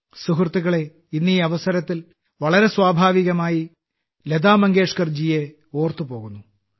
സുഹൃത്തുക്കളേ ഇന്ന് ഈ അവസരത്തിൽ വളരെ സ്വാഭാവികമായി ലതാമങ്കേഷ്കർജിയെ ഓർത്തുപോകുന്നു